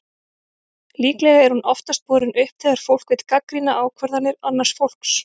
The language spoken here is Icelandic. Líklega er hún oftast borin upp þegar fólk vill gagnrýna ákvarðanir annars fólks.